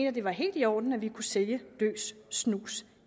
at det var helt i orden at vi kunne sælge løs snus